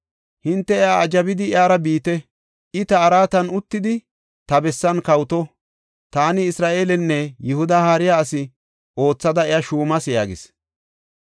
Hinte iya ajabidi iyara biite; I ta araatan uttidi, ta bessan kawoto. Taani Isra7eelenne Yihuda haariya asi oothada iya shuumas” yaagis.